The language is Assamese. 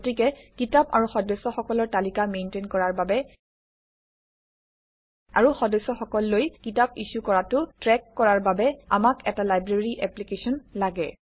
গতিকে কিতাপ আৰু সদস্যসকলৰ তালিকা মেইনটেইন কৰাৰ বাবে আৰু সদস্যসকললৈ কিতাপ ইছ্যু কৰাটো ট্ৰেক কৰাৰ বাবে আমাক এটা লাইব্ৰেৰী এপ্লিকেশ্যন লাগে